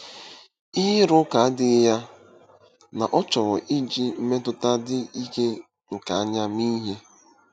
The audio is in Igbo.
Ihe ịrụ ụka adịghị ya na ọ chọrọ iji mmetụta dị ike nke anya mee ihe.